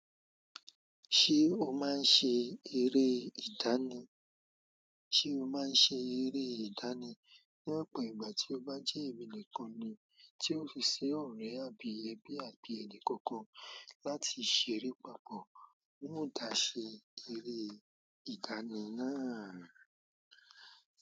Se o ma se ere ìdáná o máa ń ṣe eré ìdánì? Ní ọ̀pọ̀ ìgbà tí ó bá jẹ́ ẹ̀mí nìkan ni tí ó fi ṣe ọ̀rẹ́ àbí ẹbí àbí ẹni kankan láti ṣeré papọ̀, wọ́n ó dà ṣe eré ìdánì náà.